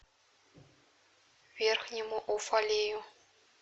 верхнему уфалею